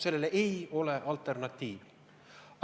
Sellele ei ole alternatiivi.